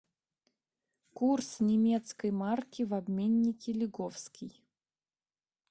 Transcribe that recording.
курс немецкой марки в обменнике лиговский